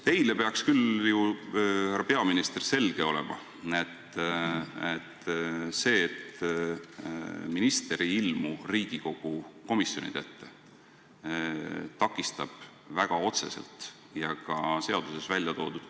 Teile, härra peaminister, peaks küll selge olema, et see, et minister ei ilmu Riigikogu komisjonide ette, takistab väga otseselt Riigikogu tööd.